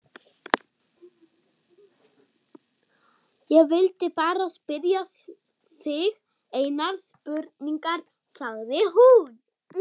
Ég vildi bara spyrja þig einnar spurningar, sagði hún.